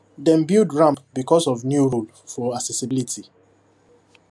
dem build ramp because of new rule for accessibility